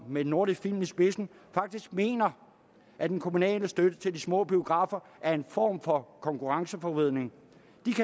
med nordisk film i spidsen faktisk mener at den kommunale støtte til de små biografer er en form for konkurrenceforvridning